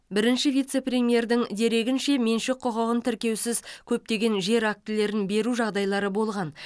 бірінші вице премьердің дерегінше меншік құқығын тіркеусіз көптеген жер актілерді беру жағдайлары болған